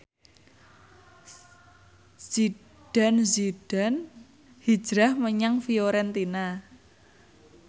Zidane Zidane hijrah menyang Fiorentina